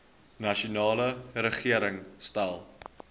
nasionale regering stel